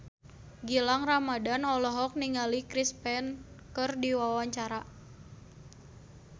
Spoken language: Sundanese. Gilang Ramadan olohok ningali Chris Pane keur diwawancara